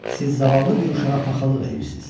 Siz zavallı bir uşağa paxıllıq eləyirsiz.